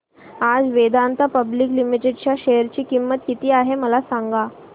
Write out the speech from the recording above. आज Vedanta public limited च्या share ची किंमत किती आहे मला सांगा